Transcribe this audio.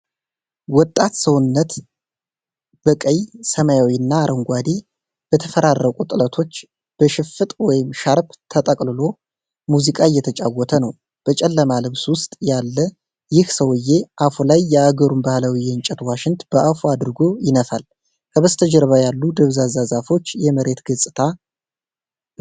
ወጣት ሰውነት በቀይ፣ ሰማያዊ እና አረንጓዴ በተፈራረቁ ጥለቶች በሽፍጥ/ሻርፕ ተጠቅልሎ ሙዚቃ እያተጫወታ ነው። በጨለማ ልብስ ውስጥ ያለ ይህ ሰውዬ አፉ ላይ የአገሩን ባህላዊ የእንጨት ዋሽንት በአፉ አድርጎ ይነፋል። ከበስተጀርባ ያሉ ደብዛዛ ዛፎች የመሬት ገጽታው ነው።